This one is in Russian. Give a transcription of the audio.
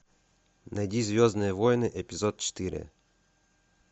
найди звездные войны эпизод четыре